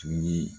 Tun ye